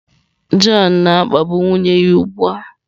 John na-akpagbu nwunye ya ugbu a!